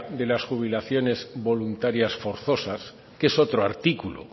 de las jubilaciones voluntarias forzosas que es otro artículo